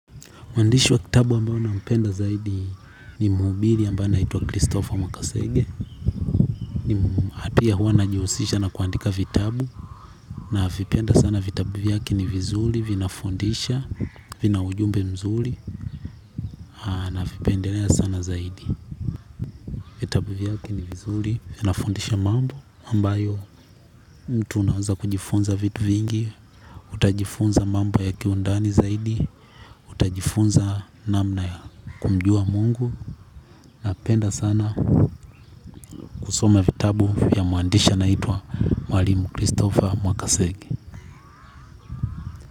Mwandishi wa kitabu ambao naupenda zaidi ni muhubiri ambaye anaitwa Christopher. Makasege. Napia hua anajihusisha na kuandika vitabu navipenda sana vitabu vyake ni vizuri vinafundisha vina ujumbe mzuri navipendelea sana zaidi. Vitabu vyake ni vizuri vinafundisha mambo ambayo mtu unawaza kujifunza vitu vingi. Utajifunza mambo ya kiundani zaidi utajifunza namna ya kumjua mungu. Na penda sana kusoma vitabu ya mwandishi anaitwa Mwalimu Christopher Makasegi.